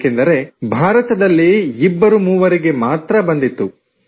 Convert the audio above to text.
ಏಕೆಂದರೆ ಭಾರತದಲ್ಲಿ ಇಬ್ಬರು ಮೂವರಿಗೆ ಮಾತ್ರ ಬಂದಿತ್ತು